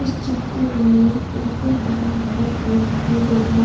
चित्र में एक हरा भरा पेड़ दिखाई पड़ रहा--